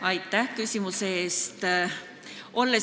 Aitäh küsimuse eest!